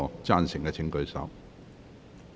贊成的請舉手。